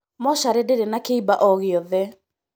Mocarī ndīrī na kīiba o gīothe